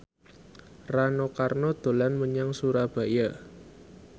Rano Karno dolan menyang Surabaya